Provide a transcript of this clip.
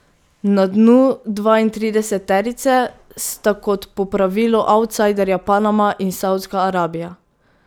Na dnu dvaintrideseterice sta kot po pravilu avtsajderja Panama in Savdska Arabija.